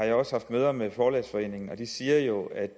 jeg også haft møder med forlæggerforeningen og de siger jo at